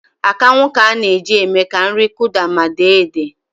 Akanwụ ka a na-eji eme ka nri Kụda ma dee edee